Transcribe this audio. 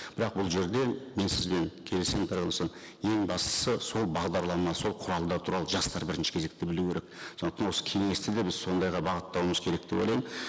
бірақ бұл жерде мен сізбен келісемін ең бастысы сол бағдарлама сол құралдар туралы жастар бірінші кезекте білу керек сондықтан осы кеңесті де біз сондайға бағыттауымыз керек деп ойлаймын